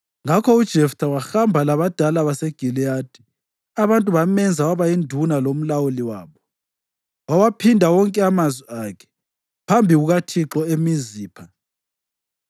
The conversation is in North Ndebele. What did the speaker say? Ngakho uJeftha wahamba labadala baseGiliyadi, abantu bamenza waba yinduna lomlawuli wabo. Wawaphinda wonke amazwi akhe phambi kukaThixo eMizipha.